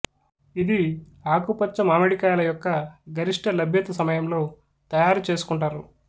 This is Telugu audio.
ఇది ఆకుపచ్చ మామిడికాయల యొక్క గరిష్ఠ లభ్యత సమయంలో తయారు చేసుకుంటారు